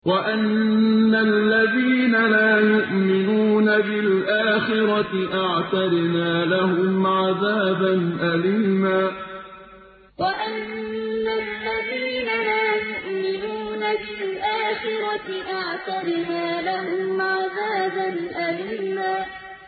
وَأَنَّ الَّذِينَ لَا يُؤْمِنُونَ بِالْآخِرَةِ أَعْتَدْنَا لَهُمْ عَذَابًا أَلِيمًا وَأَنَّ الَّذِينَ لَا يُؤْمِنُونَ بِالْآخِرَةِ أَعْتَدْنَا لَهُمْ عَذَابًا أَلِيمًا